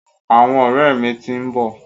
Àwọn ọ̀rẹ́ mi ti ń bọ̀.